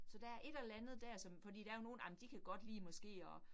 Så der et eller andet dér som fordi der jo nogle, ej men de kan godt lide måske at